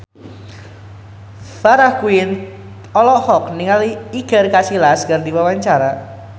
Farah Quinn olohok ningali Iker Casillas keur diwawancara